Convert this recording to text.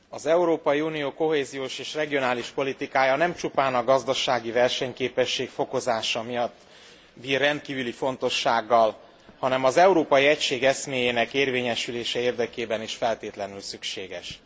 Az Európai Unió kohéziós és regionális politikája nem csupán a gazdasági versenyképesség fokozása miatt bír rendkívüli fontossággal, hanem az európai egység eszméjének érvényesülése érdekében is feltétlenül szükséges.